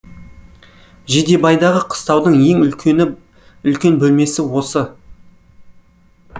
жидебайдағы қыстаудың ең үлкен бөлмесі осы